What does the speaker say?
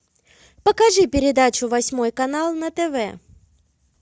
покажи передачу восьмой канал на тв